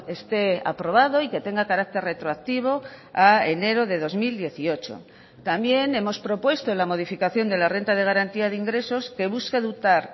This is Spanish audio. esté aprobado y que tenga carácter retroactivo a enero de dos mil dieciocho también hemos propuesto en la modificación de la renta de garantía de ingresos que busque dotar